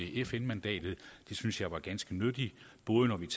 fn mandatet det synes jeg var ganske nyttigt både når det